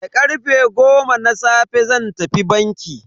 Da karfe goma na safe zan tafi banki.